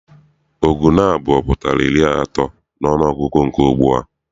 Ọgụ naabọ pụtara iri atọ n'ọnụọgụgụ nke ugbua.